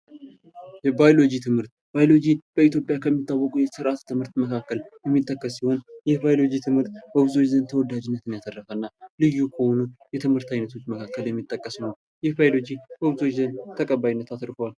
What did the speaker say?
የባዮሎጂ ትምህርት ባይሎጂ በኢትዮጵያ የሚታወቁ የሳይንስ ትምህርት መካከል የሚጠቀስ ሲሆን የባዮሎጂ ትምህርት በኢትዮጵያ ተወዳጅነትን ያተረፈ እና ልዩ ከሆኑ የትምህርት አይነቶች መካከል የሚጠቀስ ነው። ይህ ባዮሎጂ ከብዙዎች ዘንድ ተቀባይነትን አትርፏል።